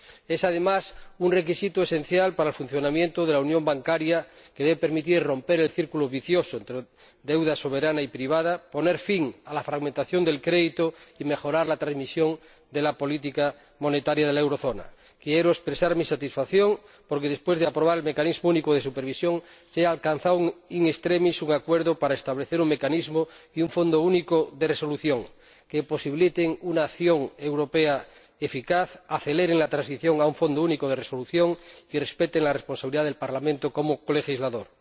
Es, además, un requisito esencial para el funcionamiento de la unión bancaria, que debe permitir romper el círculo vicioso entre deuda soberana y privada, poner fin a la fragmentación del crédito y mejorar la transmisión de la política monetaria de la zona del euro. Quiero expresar mi satisfacción porque, después de aprobar el Mecanismo Único de Supervisión, se ha alcanzado in extremis un acuerdo para establecer un Mecanismo y un Fondo Único de Resolución que posibiliten una acción europea eficaz, aceleren la transición a un Fondo Único de Resolución y respeten la responsabilidad del Parlamento como colegislador.